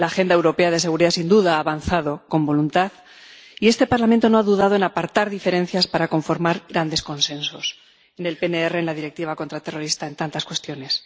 La Agenda Europea de Seguridad, sin duda, ha avanzado con voluntad, y este Parlamento no ha dudado en apartar diferencias para conformar grandes consensos en el PNR, en la Directiva contraterrorista, en tantas cuestiones.